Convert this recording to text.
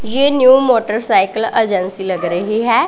ये new motorcycle agency लग रही है।